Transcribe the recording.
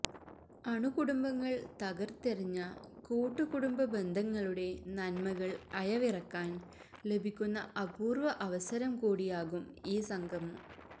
അണുകുടുംബങ്ങള് തകര്ത്തെറിഞ്ഞ കൂട്ടുകുടുംബബന്ധങ്ങളുടെ നന്മകള് അയവിറക്കാന് ലഭിക്കുന്ന അപൂര്വ അവസരം കൂടിയാകും ഈ സംഗമം